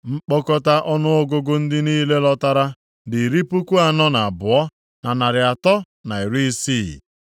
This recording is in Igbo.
Nkpọkọta ọnụọgụgụ ndị niile lọtara dị iri puku anọ na abụọ, na narị atọ na iri isii (42,360),